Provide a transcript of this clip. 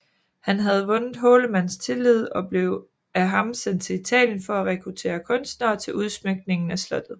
Han havde vundet Hårlemans tillid og blev af ham sendt til Italien for at rekruttere kunstnere til udsmykningen af slottet